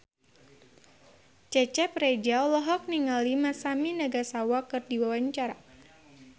Cecep Reza olohok ningali Masami Nagasawa keur diwawancara